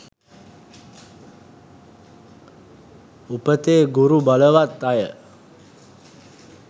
උපතේ ගුරු බලවත් අය